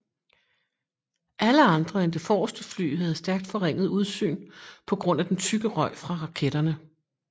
Alle andre end det forreste fly havde stærkt forringet udsyn på grund af den tykke røg fra raketterne